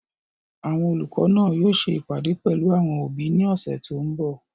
Àwọn olùkọ́ náà yóò ṣe ìpàdé pẹ̀lú àwọn òbí ní ọ̀sẹ̀ tó n bọ̀